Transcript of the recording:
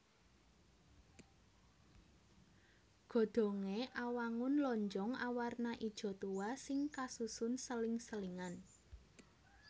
Godhongé awangun lonjong awarna ijo tuwa sing kasusun seling selingan